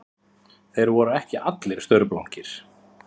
Þeir voru ekki allir staurblankir